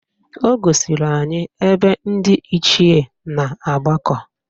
O gosiri anyị ebe ndị Ichie na-agbakọ